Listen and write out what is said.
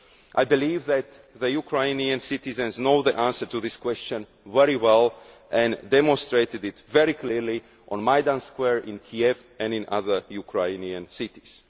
I believe that the Ukrainian citizens know the answer to this question very well and demonstrated it very clearly on Maidan Square in Kiev and in other Ukrainian cities.